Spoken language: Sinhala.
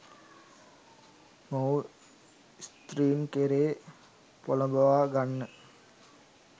මොහුව ස්ත්‍රීන් කෙරේ පොළඹවාගන්න